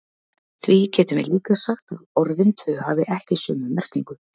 Því getum við líka sagt að orðin tvö hafi ekki sömu merkingu.